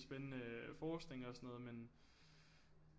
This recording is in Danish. Spændende forskning og sådan noget men